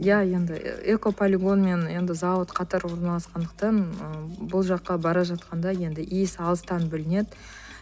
иә енді экополигон мен енді зауыт қатар орналасқандықтан ы бұл жаққа бара жатқанда енді иісі алыстан білінеді